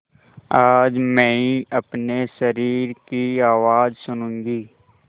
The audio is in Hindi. आज मैं अपने शरीर की आवाज़ सुनूँगी